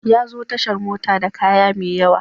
Ya zo tashar mota da kaya mai yawa.